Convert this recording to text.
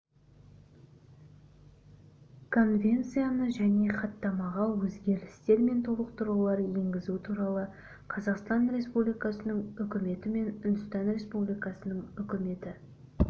конвенцияға және хаттамаға өзгерістер мен толықтырулар енгізу туралы қазақстан республикасының үкіметі мен үндістан республикасының үкіметі